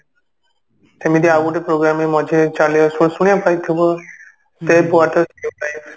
ସେମିତି ଆଉ ଗୋଟେ program ବି ମଝିରେ ଏମିତି ଚାଲିଆସୁ ଶୁଣିବାକୁ ପାଇଥିବ save water save life